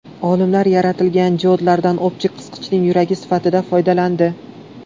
Olimlar yaratilgan diodlardan optik qisqichning yuragi sifatida foydalandi.